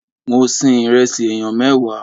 Mo sin ìrẹsì ènìyàn mẹ́wàá